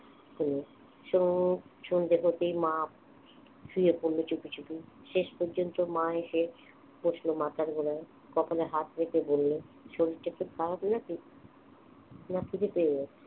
অনুর সন্ধে সন্ধ্যে হতেই মা শুয়ে পড়লো চুপিচুপি শেষ পর্যন্ত মা এসে বসলো মাথার গোড়ায় কপালে হাত রেখে বললে শরীরটা খুব খারাপ নাকি না খিদে পেয়ে গেছে